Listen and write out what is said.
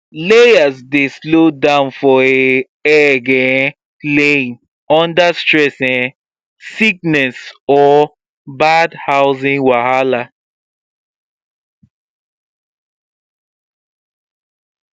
layers dey slow down for um egg um laying under stress um sickness or bad housing wahala